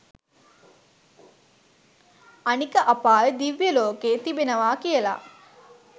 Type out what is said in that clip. අනික අපාය දිව්‍ය ලෝක තිබෙනව කියල